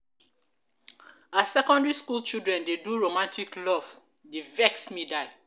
as secondary school children dey do romantic love dey vex me die.